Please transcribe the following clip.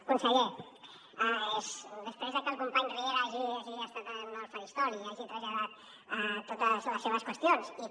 conseller després de que el company riera hagi estat en el faristol i hagi traslladat totes les seves qüestions i que